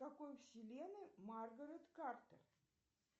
в какой вселенной маргарет картер